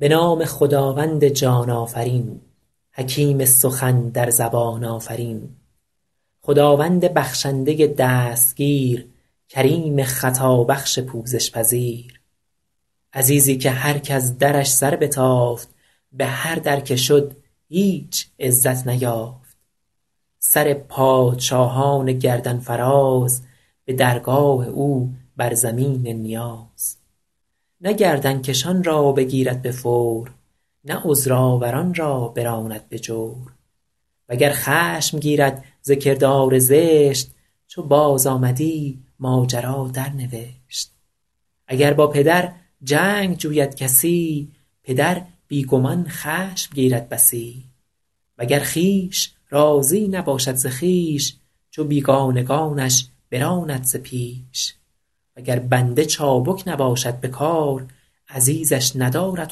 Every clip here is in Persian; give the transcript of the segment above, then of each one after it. به نام خداوند جان آفرین حکیم سخن در زبان آفرین خداوند بخشنده دستگیر کریم خطابخش پوزش پذیر عزیزی که هر کز درش سر بتافت به هر در که شد هیچ عزت نیافت سر پادشاهان گردن فراز به درگاه او بر زمین نیاز نه گردن کشان را بگیرد به فور نه عذرآوران را براند به جور وگر خشم گیرد ز کردار زشت چو بازآمدی ماجرا درنوشت اگر با پدر جنگ جوید کسی پدر بی گمان خشم گیرد بسی وگر خویش راضی نباشد ز خویش چو بیگانگانش براند ز پیش وگر بنده چابک نباشد به کار عزیزش ندارد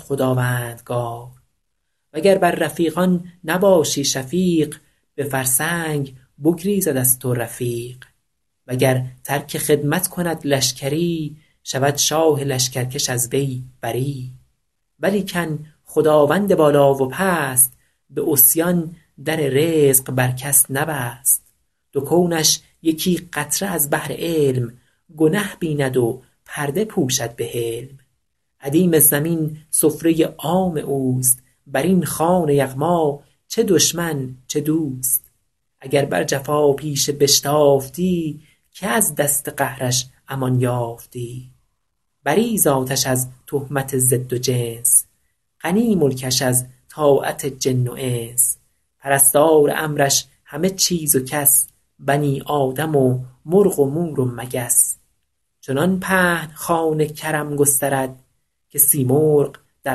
خداوندگار وگر بر رفیقان نباشی شفیق به فرسنگ بگریزد از تو رفیق وگر ترک خدمت کند لشکری شود شاه لشکرکش از وی بری ولیکن خداوند بالا و پست به عصیان در رزق بر کس نبست دو کونش یکی قطره از بحر علم گنه بیند و پرده پوشد به حلم ادیم زمین سفره عام اوست بر این خوان یغما چه دشمن چه دوست اگر بر جفاپیشه بشتافتی که از دست قهرش امان یافتی بری ذاتش از تهمت ضد و جنس غنی ملکش از طاعت جن و انس پرستار امرش همه چیز و کس بنی آدم و مرغ و مور و مگس چنان پهن خوان کرم گسترد که سیمرغ در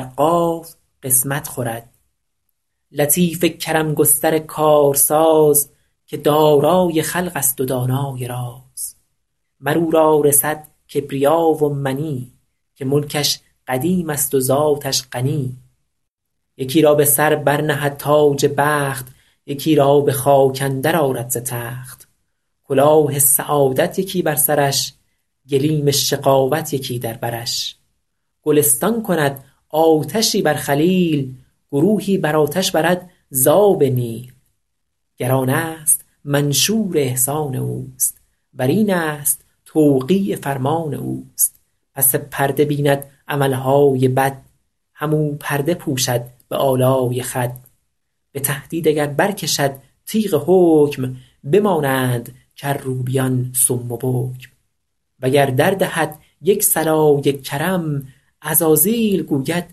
قاف قسمت خورد لطیف کرم گستر کارساز که دارای خلق است و دانای راز مر او را رسد کبریا و منی که ملکش قدیم است و ذاتش غنی یکی را به سر بر نهد تاج بخت یکی را به خاک اندر آرد ز تخت کلاه سعادت یکی بر سرش گلیم شقاوت یکی در برش گلستان کند آتشی بر خلیل گروهی به آتش برد ز آب نیل گر آن است منشور احسان اوست ور این است توقیع فرمان اوست پس پرده بیند عمل های بد هم او پرده پوشد به آلای خود به تهدید اگر برکشد تیغ حکم بمانند کروبیان صم و بکم وگر دردهد یک صلای کرم عزازیل گوید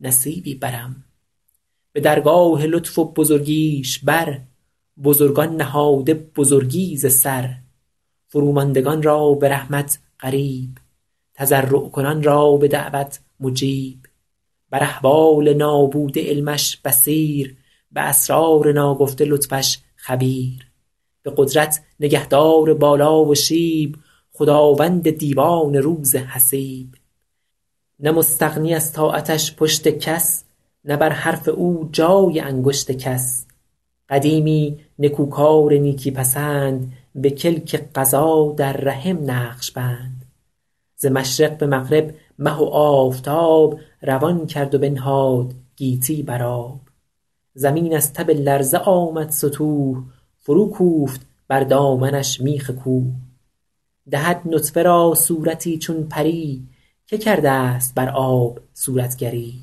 نصیبی برم به درگاه لطف و بزرگیش بر بزرگان نهاده بزرگی ز سر فروماندگان را به رحمت قریب تضرع کنان را به دعوت مجیب بر احوال نابوده علمش بصیر به اسرار ناگفته لطفش خبیر به قدرت نگهدار بالا و شیب خداوند دیوان روز حسیب نه مستغنی از طاعتش پشت کس نه بر حرف او جای انگشت کس قدیمی نکوکار نیکی پسند به کلک قضا در رحم نقش بند ز مشرق به مغرب مه و آفتاب روان کرد و بنهاد گیتی بر آب زمین از تب لرزه آمد ستوه فروکوفت بر دامنش میخ کوه دهد نطفه را صورتی چون پری که کرده ست بر آب صورتگری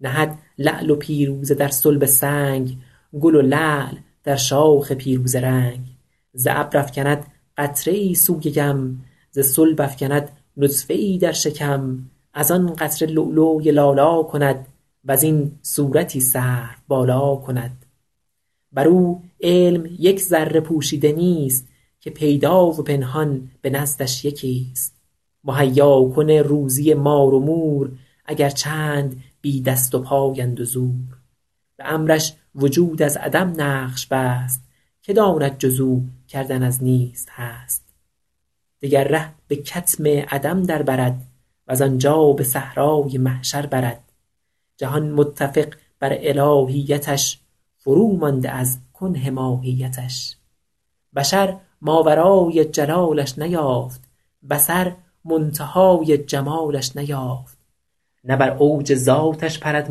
نهد لعل و پیروزه در صلب سنگ گل لعل در شاخ پیروزه رنگ ز ابر افکند قطره ای سوی یم ز صلب افکند نطفه ای در شکم از آن قطره لولوی لالا کند وز این صورتی سروبالا کند بر او علم یک ذره پوشیده نیست که پیدا و پنهان به نزدش یکی ست مهیاکن روزی مار و مور اگر چند بی دست وپای اند و زور به امرش وجود از عدم نقش بست که داند جز او کردن از نیست هست دگر ره به کتم عدم در برد وز آنجا به صحرای محشر برد جهان متفق بر الهیتش فرومانده از کنه ماهیتش بشر ماورای جلالش نیافت بصر منتهای جمالش نیافت نه بر اوج ذاتش پرد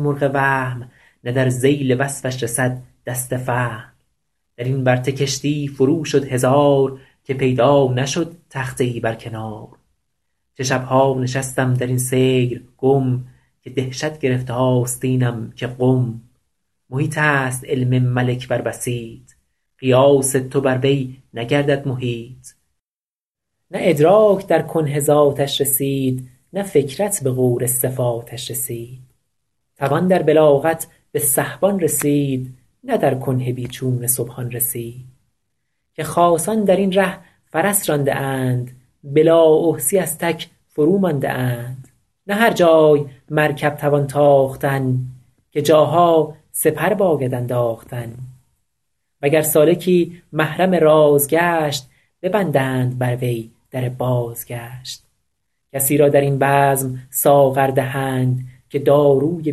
مرغ وهم نه در ذیل وصفش رسد دست فهم در این ورطه کشتی فرو شد هزار که پیدا نشد تخته ای بر کنار چه شب ها نشستم در این سیر گم که دهشت گرفت آستینم که قم محیط است علم ملک بر بسیط قیاس تو بر وی نگردد محیط نه ادراک در کنه ذاتش رسید نه فکرت به غور صفاتش رسید توان در بلاغت به سحبان رسید نه در کنه بی چون سبحان رسید که خاصان در این ره فرس رانده اند به لااحصیٖ از تک فرومانده اند نه هر جای مرکب توان تاختن که جاها سپر باید انداختن وگر سالکی محرم راز گشت ببندند بر وی در بازگشت کسی را در این بزم ساغر دهند که داروی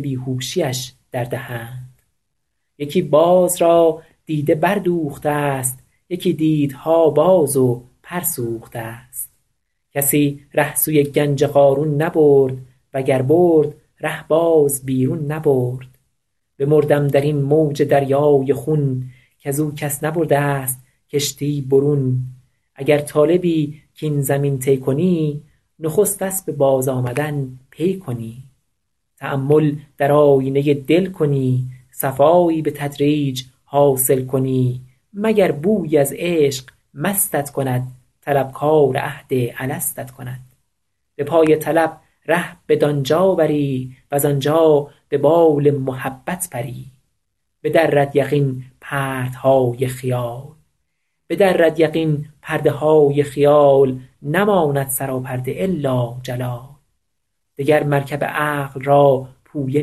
بیهوشی اش دردهند یکی باز را دیده بردوخته ست یکی دیده ها باز و پر سوخته ست کسی ره سوی گنج قارون نبرد وگر برد ره باز بیرون نبرد بمردم در این موج دریای خون کز او کس نبرده ست کشتی برون اگر طالبی کاین زمین طی کنی نخست اسب بازآمدن پی کنی تأمل در آیینه دل کنی صفایی به تدریج حاصل کنی مگر بویی از عشق مستت کند طلبکار عهد الستت کند به پای طلب ره بدان جا بری وز آنجا به بال محبت پری بدرد یقین پرده های خیال نماند سراپرده إلا جلال دگر مرکب عقل را پویه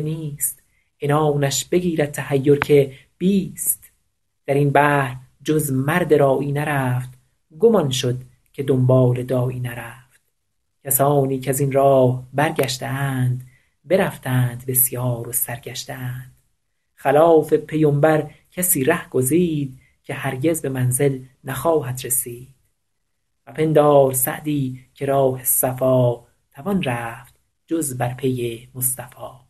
نیست عنانش بگیرد تحیر که بیست در این بحر جز مرد راعی نرفت گم آن شد که دنبال داعی نرفت کسانی کز این راه برگشته اند برفتند بسیار و سرگشته اند خلاف پیمبر کسی ره گزید که هرگز به منزل نخواهد رسید مپندار سعدی که راه صفا توان رفت جز بر پی مصطفی